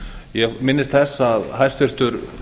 ég minnist þess að hæstvirtur